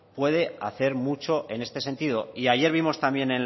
puede hacer mucho en este sentido y ayer vimos también